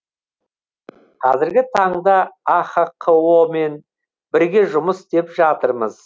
қазіргі таңда ахқо мен бірге жұмыс істеп жатырмыз